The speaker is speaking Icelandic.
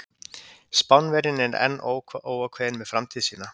Spánverjinn er enn óákveðinn með framtíð sína.